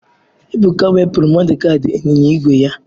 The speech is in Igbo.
Ebuka wepụrụ Modugadi ịnyịnya ígwè ya.